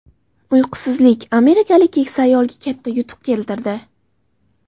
Uyqusizlik amerikalik keksa ayolga katta yutuq keltirdi.